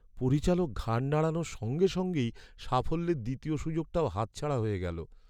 পরিচালক ঘাড় নাড়ানোর সঙ্গে সঙ্গেই সাফল্যের দ্বিতীয় সুযোগটাও হাতছাড়া হয়ে গেল।